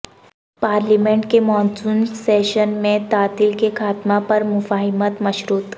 parliament کے monsoon session میں تعطل کے خاتمہ پر مفاہمت مشروط